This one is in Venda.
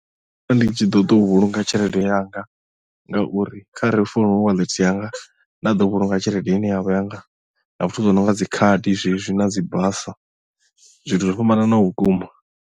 Ndo vha ndi tshi ḓo u vhulunga tshelede yanga ngauri kha re founu hu wallet yanga nda ḓo vhulunga tshelede ine yavha yanga na zwithu zwi no nga dzi khadi zwezwi na dzi basa zwithu zwo fhambananaho vhukuma.